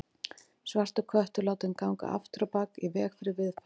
Svartur köttur látinn ganga afturábak í veg fyrir viðfang.